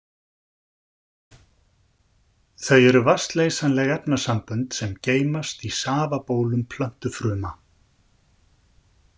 Þau eru vatnsleysanleg efnasambönd sem geymast í safabólum plöntufruma.